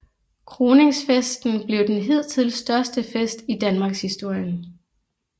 Kroningsfesten blev den hidtil største fest i Danmarkshistorien